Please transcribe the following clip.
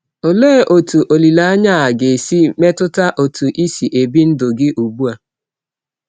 Òlee otú olileanya a ga-esi metụta ọtụ ịsị ebị ndụ gị ugbu a?